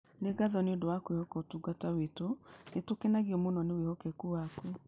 Nĩ ngatho nĩ ũndũ wa kwĩhoka ũtungata witũ, nĩ tũkenagio mũno nĩ wĩhokeku waku.